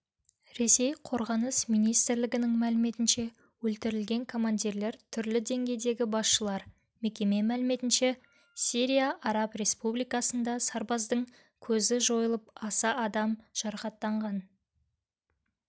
ресей қорғаныс министрлігінің мәліметінше өлтірілген командирлер түрлі деңгейдегі басшылар мекеме мәліметінше сирия араб республикасында сарбаздың көзі жойылып аса адам жарақаттанған